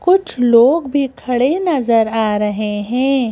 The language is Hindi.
कुछ लोग भी खड़े नजर आ रहे हैं।